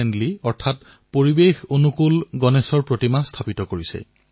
অধিকাংশ স্থানতে এইবাৰ পৰিবেশ অনুকূল গণেশজীৰ প্ৰতিমা স্থাপন কৰা হৈছে